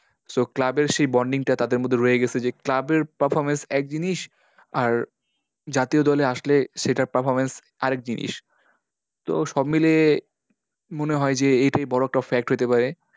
So club এর সেই bonding টা তাদের মধ্যে রয়ে গেছে। যে club এর performance এক জিনিস আর জাতীয় দলে আসলে সেটার performance আর এক জিনিস। তো সব মিলিয়ে মনে হয় যে, এইটাই বড়ো একটা fact হতে পারে।